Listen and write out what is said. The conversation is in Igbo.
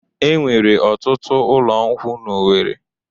Enwere ọtụtụ ụlọ nkwụ n'Owere.